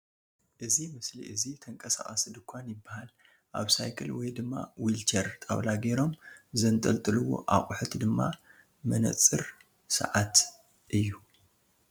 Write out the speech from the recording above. እዚ ምስሊ እዚ ተንቅሳቃሲ ድካን ይበሃል ኣብ ሳይክል ውይ ድማ ዊልችር ጣውላ ጌሮም ዝንጠልጥልዎ ኣቁሑት ድማ ምንፅርን ስዓትን እዩ ።